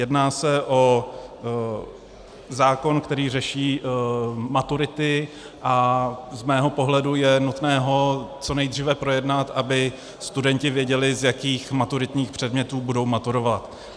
Jedná se o zákon, který řeší maturity, a z mého pohledu je nutné ho co nejdříve projednat, aby studenti věděli, z jakých maturitních předmětů budou maturovat.